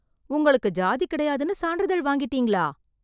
உங்களுக்கு ஜாதி கிடையாதுன்னு சான்றிதழ் வாங்கிட்டிங்களா?